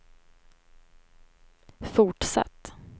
fortsatt